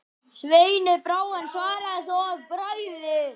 Sveini brá, en svaraði þó að bragði: